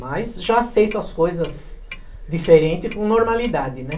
Mas já aceito as coisas diferente e com normalidade, né?